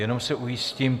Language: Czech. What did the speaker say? Jenom se ujistím.